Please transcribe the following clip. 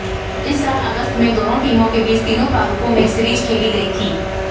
इस साल अगस्त में दोनों टीमों के बीच तीनों प्रारूपों में सीरीज खेलीं गई थीं